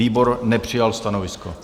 Výbor nepřijal stanovisko.